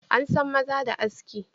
An san maza da aski.